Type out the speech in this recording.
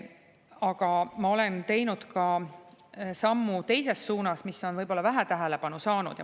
Aga ma olen teinud ka sammu teises suunas, mis on võib-olla vähe tähelepanu saanud.